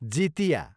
Jitiya